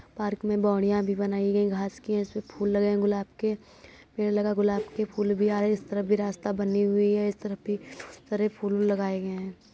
Park मे बोडीया भी बनाई गई घास की। इसमे फूल लगे गुलाब के पेड़ लगा गुलाब के फूल भी आ रहे। इस तरफ भी रास्ता बनी हुई है। इस तरफ भी तरह फूल लगाए गए हैं।